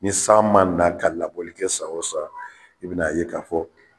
Ni san ma na ka labɔli kɛ san o san, i bina ye ka fɔ